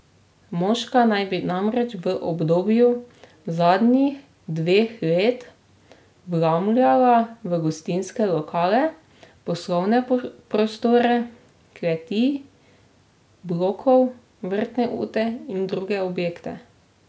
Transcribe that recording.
Moška naj bi namreč v obdobju zadnjih dveh let vlamljala v gostinske lokale, poslovne prostore, kleti blokov, vrtne ute in druge objekte.